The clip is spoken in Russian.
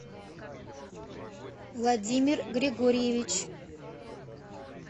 владимир григорьевич